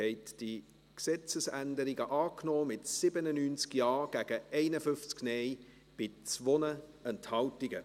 Sie haben diese Gesetzesänderungen angenommen, mit 97 Ja- gegen 51 Nein-Stimmen bei 2 Enthaltungen.